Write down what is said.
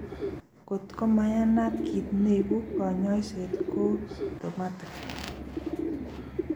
Kot ko manayat kiit neibu, kanyoiset ko symptomatic